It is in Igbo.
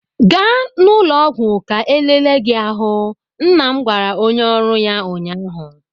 Gaa n'ụlọ ọgwụ ka elele gi ahụ! nna m gwara onye oru ya ụnyaahụ.